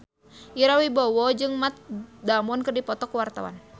Ira Wibowo jeung Matt Damon keur dipoto ku wartawan